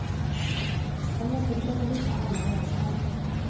Man måste försöka hitta alla vägar.